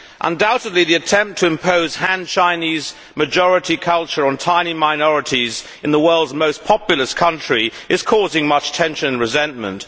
Undoubtedly, the attempt to impose Han Chinese majority culture on tiny minorities in the world's most populous country is causing much tension and resentment.